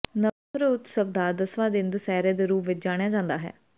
ਨਵਰਤ੍ਰਾ ਉਤਸਵ ਦਾ ਦਸਵਾਂ ਦਿਨ ਦੁਸਹਿਰੇ ਦੇ ਰੂਪ ਵਿਚ ਜਾਣਿਆ ਜਾਂਦਾ ਹੈ